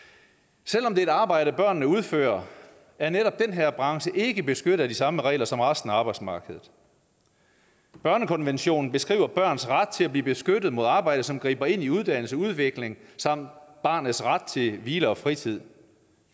selv om det er et arbejde børnene udfører er netop den her branche ikke beskyttet af de samme regler som resten af arbejdsmarkedet børnekonventionen beskriver børns ret til at blive beskyttet mod arbejde som griber ind i uddannelse udvikling samt barnets ret til hvile og fritid